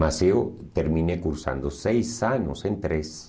Mas eu terminei cursando seis anos em treze.